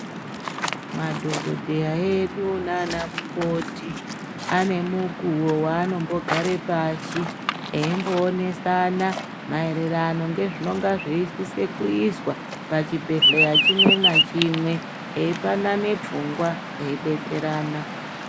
Madhokodheya edu nana mukoti ane mukuwo waanombogara pasi veimboonesana maererano nezvinosisa kuitwa pachibhedhleya chimwe na chimwe veipanane pfungwa veidetserana.